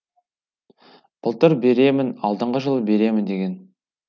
былтыр беремін алдыңғы жылы беремін деген